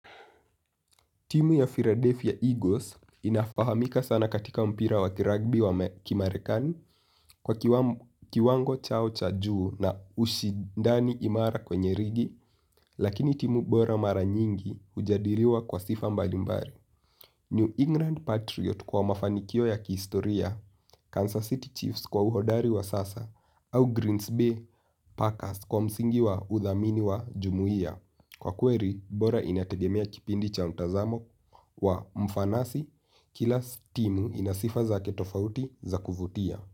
Timu ya Philadelphia Eagles inafahamika sana katika mpira wa kiragbi wa kimarekani kwa kiwango chao cha juu na ushindani imara kwenye ligi lakini timu bora mara nyingi hujadiliwa kwa sifa mbalimbali. New England Patriot kwa mafanikio ya kihistoria, Kansas City Chiefs kwa uhodari wa sasa au Greens Bay Packers kwa msingi wa udhamini wa jumuiya. Kwa kweli ubora inategemea kipindi cha mtazamo kwa mfanasi, kila stimu inasifa zake tofauti za kuvutia.